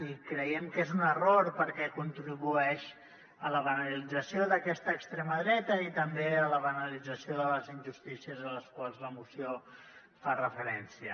i creiem que és un error perquè contribueix a la banalització d’aquesta extrema dreta i també a la banalització de les injustícies a les quals la moció fa referència